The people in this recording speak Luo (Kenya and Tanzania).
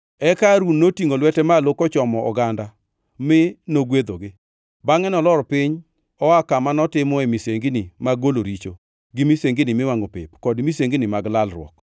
Eka Harun notingʼo lwete malo kochomo oganda mi nogwedhogi. Bangʼe nolor piny oa kama notimoe misengini mag golo richo gi misengini miwangʼo pep, kod misengini mag lalruok.